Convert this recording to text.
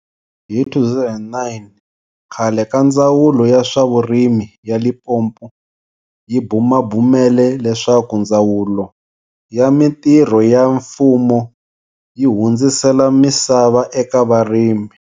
Hi 2009, khale ka Ndzawulo ya swa Vurimi ya Limpopo yi bumabumele leswaku Ndzawulo ya Mitirho ya Mfumo yi hundzisela misava eka varimi.